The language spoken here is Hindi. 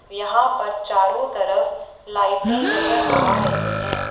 यहां पर चारों तरफ लाइटें नजर आ रही हैं।